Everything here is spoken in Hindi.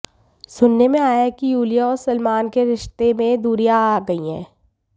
सुनने में आया है की युलिया और सलमान के रश्ते में दूरियां आ गयी है